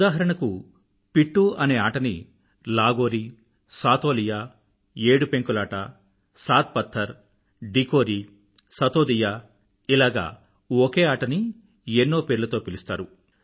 ఉదాహరణకు పిట్టూ ఆనే ఆటని లాగోరీ సాతోలియా ఏడు పెంకులాట సాత్ పథ్తర్ డికోరీ సతోదియా ఇలాగ ఒకే ఆటని ఎన్నో పేర్లతో పిలుస్తారు